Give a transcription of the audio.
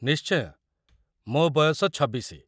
ନିଶ୍ଚୟ, ମୋ ବୟସ ୨୬।